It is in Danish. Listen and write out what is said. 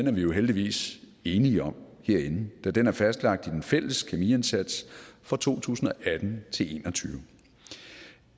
er vi jo heldigvis enige om herinde da den er fastlagt i den fælles kemiindsats for to tusind og atten til en og tyve